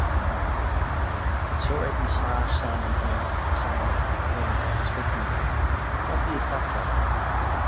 Sjá einnig svar saman höfundar við spurningunni Hvað þýðir Ballará?